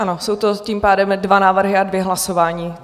Ano, jsou to tím pádem dva návrhy a dvě hlasování.